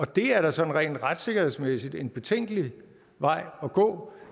det er da sådan retssikkerhedsmæssigt en betænkelig vej at gå